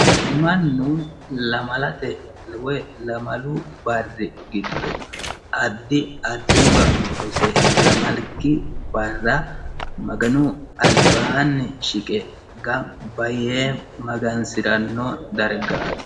mannu lamalate woy lamalu barri giddo addi addiwa hose lamalki barra maganu albaanni shiqe gamba yee magansi'ranno dargaati